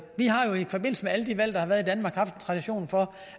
har jo i forbindelse med alle de valg der har været i danmark haft en tradition for